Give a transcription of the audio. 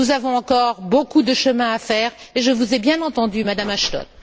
Nous avons encore beaucoup de chemin à faire et je vous ai bien entendu, Madame Ashton.